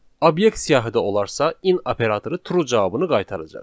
Obyekt siyahıda olarsa, in operatoru true cavabını qaytaracaq.